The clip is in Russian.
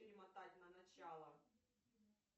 перемотать на начало